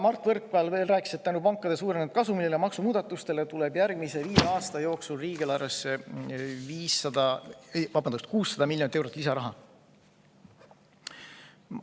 Mart Võrklaev rääkis veel, et tänu pankade suurenenud kasumile ja maksumuudatustele tuleb järgmise viie aasta jooksul riigieelarvesse 600 miljonit eurot lisaraha.